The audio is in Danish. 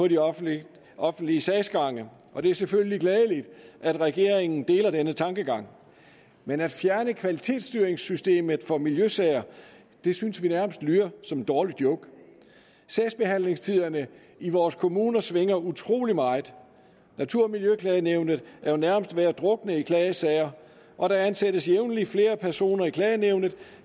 de offentlige offentlige sagsgange og det er selvfølgelig glædeligt at regeringen deler denne tankegang men at fjerne kvalitetsstyringssystemet for miljøsager synes vi nærmest lyder som en dårlig joke sagsbehandlingstiderne i vores kommuner svinger utrolig meget natur og miljøklagenævnet er jo nærmest ved at drukne i klagesager og der ansættes jævnligt flere personer i klagenævnet